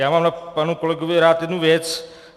Já mám na panu kolegovi rád jednu věc.